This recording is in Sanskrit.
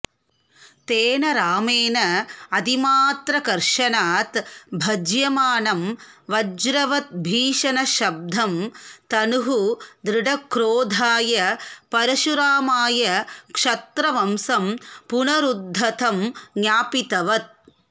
तेन रामेण अतिमात्रकर्षणात् भज्यमानं वज्रवद्भीषणशब्दं धनुः दृढक्रोधाय परशुरामाय क्षत्रवंशं पुनरुद्धतं ज्ञापितवत्